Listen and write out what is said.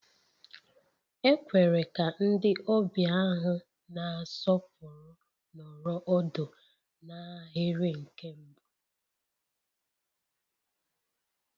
E kwere ka ndị ọbịa ahụ na-asọpụrụ nọrọ ọdụ n'ahịrị nke mbụ